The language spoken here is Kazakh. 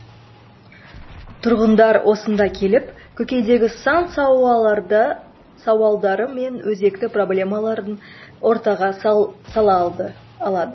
тұрғындар осында келіп көкейдегі сан сауалдары мен өзекті проблемаларын ортаға сала алады